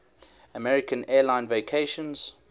american airlines vacations